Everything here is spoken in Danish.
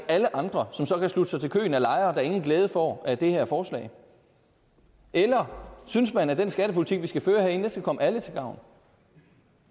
alle andre som så kan slutte sig til køen af lejere der ingen glæde får af det her forslag eller synes man at den skattepolitik vi skal føre herinde skal komme alle til gavn